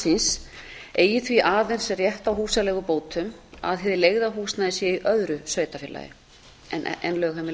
síns eigi því aðeins rétt á húsaleigubótum að hið leigða húsnæði sé í öðru sveitarfélagi en lögheimili